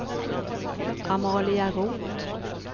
Amalia Roth